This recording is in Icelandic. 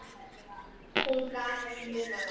Hún gat ekki munað það.